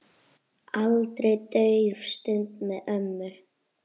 Aldrei dauf stund með ömmu.